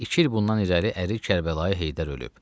İki il bundan irəli əri Kərbəlayı Heydər ölüb.